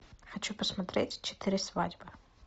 хочу посмотреть четыре свадьбы